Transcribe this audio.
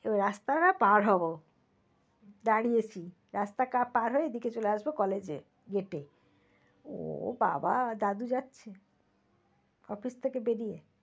তো রাস্তা না পাড় হব দাঁড়িয়েছি রাস্তা পাড় হয়ে এই দিকে চলে আসব college এ gate এ। ও বাবা দাদু যাচ্ছে। office থেকে বেরিয়ে।